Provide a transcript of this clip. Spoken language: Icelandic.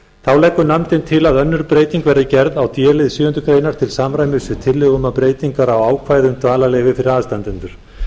þá leggur nefndin til að önnur breyting verði gerð á d lið sjöundu greinar til samræmis við tillögu um breytingu á ákvæði um dvalarleyfi fyrir aðstandendur